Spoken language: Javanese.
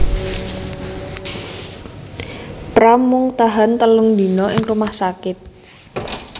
Pram mung tahan telung dina ing rumah sakit